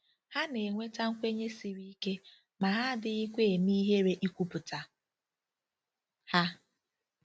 Ha na-enweta nkwenye siri ike, ma ha adịghịkwa eme ihere ikwupụta ha